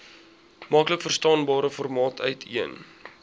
maklikverstaanbare formaat uiteen